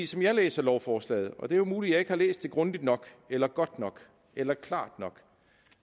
som jeg læser lovforslaget og det er jo muligt at jeg ikke har læst det grundigt nok eller godt nok eller klart nok